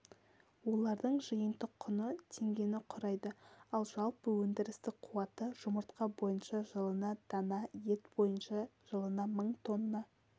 олардың жиынтық құны теңгені құрайды ал жалпы өндірістік қуаты жұмыртқа бойынша жылына дана ет бойынша жылына мың тонна